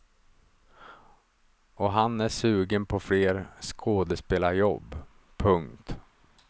Och han är sugen på fler skådespelarjobb. punkt